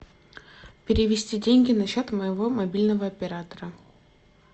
перевести деньги на счет моего мобильного оператора